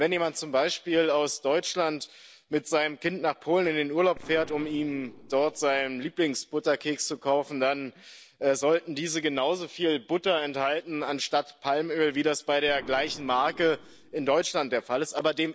Wenn jemand zum Beispiel aus Deutschland mit seinem Kind nach Polen in den Urlaub fährt und ihm dort seinen Lieblingsbutterkeks kauft, dann sollte dieser genausoviel Butter enthalten, anstatt Palmöl, wie das bei der gleichen Marke in Deutschland der Fall ist.